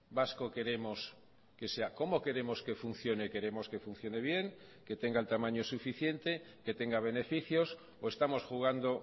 vasco queremos que sea cómo queremos que funcione queremos que funcione bien que tenga el tamaño suficiente que tenga beneficios o estamos jugando